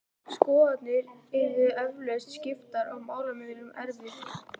Skoðanir yrðu eflaust skiptar og málamiðlun erfið.